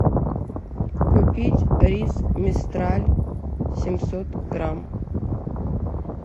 купить рис мистраль семьсот грамм